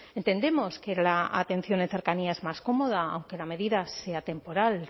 entendemos que la atención de cercanía es más cómoda aunque la medida sea temporal